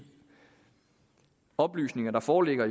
oplysninger der foreligger